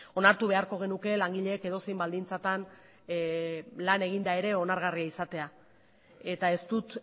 onartu beharko genuke langileek edozein baldintzatan lan eginda ere onargarria izatea eta ez dut